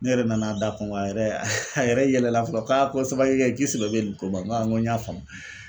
Ne yɛrɛ nan'a da kɔn gɔn a yɛrɛ yɛlɛ fɔlɔ k'a ko samakekɛ k'i sɛbɛ be nin ko ma n go aa ngo n y'a faamu